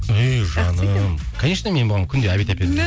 ей жаным конечно мен бұған күнде обед